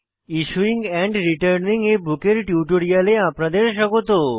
issuing and returning a book এর টিউটোরিয়ালে আপনাদের স্বাগত